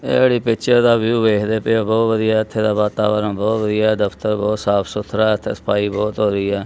ਤੇ ਜਿਹੜੀ ਪਿਚਰ ਦਾ ਵਿਊ ਵੇਖਦੇ ਪਏ ਹੋ ਬਹੁਤ ਵਧੀਆ ਇਥੇ ਦਾ ਵਾਤਾਵਰਨ ਬਹੁਤ ਵਧੀਆ ਦਫਤਰ ਬਹੁਤ ਸਾਫ ਸੁਥਰਾ ਸਫਾਈ ਬਹੁਤ ਹੋਈ ਆ।